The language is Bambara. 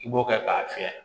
I b'o kɛ k'a fiyɛ